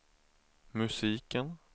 musiken